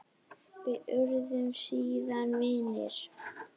Við urðum síðan vinir.